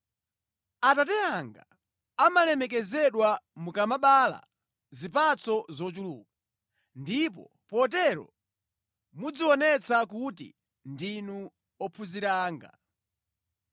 Atate anga amalemekezedwa mukamabereka zipatso zochuluka, ndipo potero mudzionetsa kuti ndinu ophunzira anga.